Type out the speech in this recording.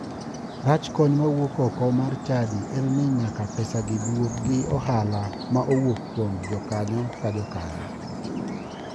Rach kony mawuok oko mar chadi en ni nyaka pesagi duok gi ohala ma owuok kuom jakanyo ka jakanyo.